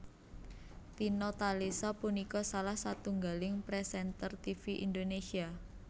Tina Talisa punika salah setunggaling présènter tivi Indonésia